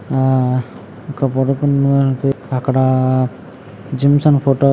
ఆ అక్కడా జిమ్స్లోన్ అని ఫోటో --